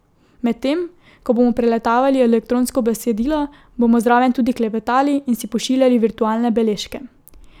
Medtem ko bomo preletavali elektronsko besedilo, bomo zraven tudi klepetali in si pošiljali virtualne beležke.